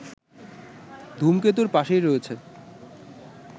ধূমকেতুর পাশেই রয়েছে